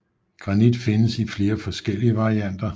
Granit findes i flere forskellige varianter